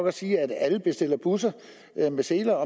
at sige at alle bestiller busser med seler og